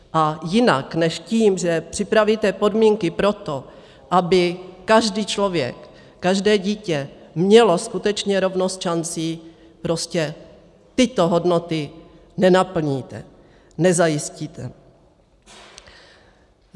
A jinak než tím, že připravíte podmínky pro to, aby každý člověk, každé dítě mělo skutečně rovnost šancí, prostě tyto hodnoty nenaplníte, nezajistíte.